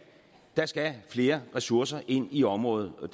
der skal flere ressourcer ind i området og